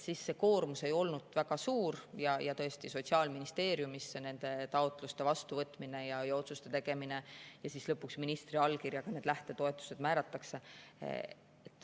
See koormus ei olnud väga suur ja tõesti Sotsiaalministeeriumis nende taotluste vastuvõtmine ja otsuste tegemine ning lõpuks ministri allkirjaga need lähtetoetused määrati.